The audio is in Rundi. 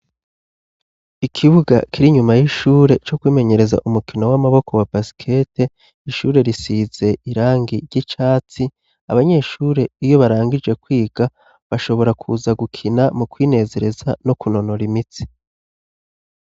Ikibuga kiri inyuma y'ishure co kwimenyereza umukino w'amaboko wa basikete. Ishure risize irangi ry'icatsi. Abanyeshure iyo barangije kwiga bashobora kuza gukina mu kwinezereza no kunonora imitsi.